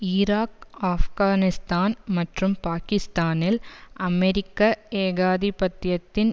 Iraq Afghanistan மற்றும் பாக்கிஸ்தானில் அமெரிக்க ஏகாதிபத்தியத்தின்